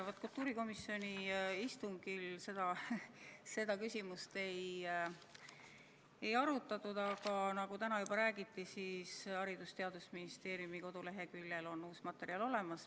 Vaat kultuurikomisjoni istungil seda küsimust ei arutatud, aga nagu täna juba räägiti, siis Haridus- ja Teadusministeeriumi koduleheküljel on uus materjal olemas.